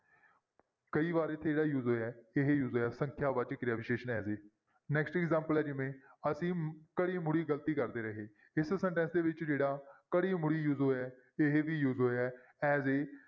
ਕਈ ਵਾਰ ਇੱਥੇ ਜਿਹੜਾ use ਹੋਇਆ ਹੈ ਇਹ use ਹੋਇਆ ਸੰਖਿਆ ਵਾਚਕ ਕਿਰਿਆ ਵਿਸ਼ੇਸ਼ਣ next examples ਹੈ ਜਿਵੇਂ ਅਸੀਂ ਗ਼ਲਤੀ ਕਰਦੇ ਰਹੇ ਇਸ sentence ਦੇ ਵਿੱਚ ਜਿਹੜਾ use ਹੋਇਆ ਹੈ ਇਹ ਵੀ use ਹੋਇਆ ਹੈ as a